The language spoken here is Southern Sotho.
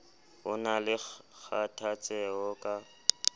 ho na le kgathatseho ka